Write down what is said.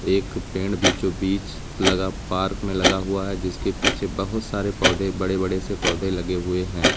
एक पेड़ बीचों बीच लगा पार्क में लगा हुआ हैं जिसके पीछे बहुत सारे पौधे बड़े बड़े से पौधे लगे हुए हैं।